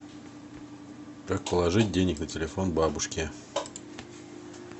как положить денег на телефон бабушке